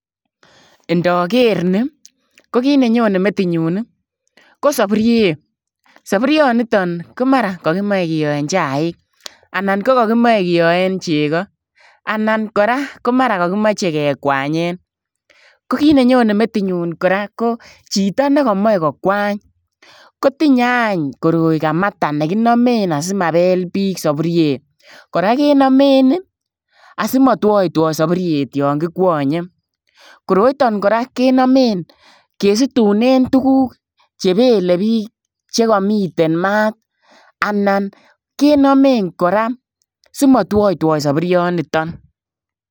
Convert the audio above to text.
Ndaker nii ii ko kiit ne Nyone metinyuun ii ko saburuiet saburuiet nitoon ko mara kakimachei kiyoen chaik anan ko kakimachei kiyoen chegoo anan kora ko mara kakimachei kekwanyeen ko kiit ne Nyone metinyuun kora ko chitoo nekamae kokwaany kotinyei aany koroi kamata nekinamewn asimabeel biik saburuiet kora kenamen ii asimatwaitwai saburuiet yaan kikwanyei koroitoi kora kesituneen tuguuk che bele biik cheka miten maat anan kenamewn kora simatwaitwai saburuiet nitoon.